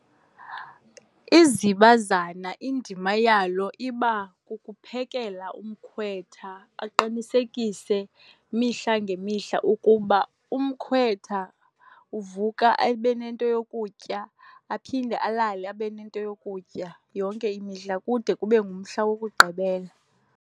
Izibazana indima yalo iba kukuphekela umkhwetha, aqinisekise imihla ngemihla ukuba umkhwetha uvuka abe nento yokutya, aphinde alale abe nento yokutya yonke imihla kude kube ngumhla wokugqibela.